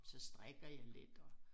Så strikker jeg lidt og